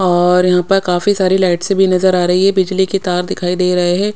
और यहा पर काफी सारी लाइटसे भी नजर आ रही है बिजली के तार दिखाई दे रहे है।